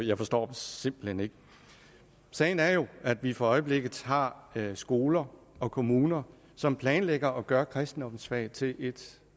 jeg forstår dem simpelt hen ikke sagen er jo at vi for øjeblikket har skoler og kommuner som planlægger at gøre kristendommensfaget til et